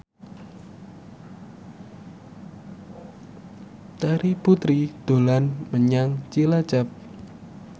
Terry Putri dolan menyang Cilacap